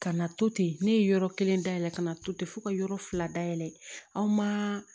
Ka na to ten ne ye yɔrɔ kelen dayɛlɛ ka na to ten fo ka yɔrɔ fila dayɛlɛ aw ma